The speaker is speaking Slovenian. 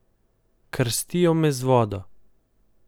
Krstijo me z vodo.